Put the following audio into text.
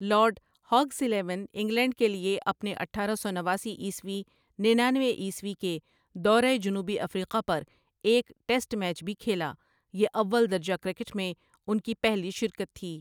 Lord Hawke's eleven England کے لیے اپنے اٹھارہ سو نواسی عیسوی ننانوے عیسوی کے دورہ جنوبی افریقہ پر ایک ٹیسٹ میچ بھی کھیلا یہ اول درجہ کرکٹ میں ان کی پہلی شرکت تھی ۔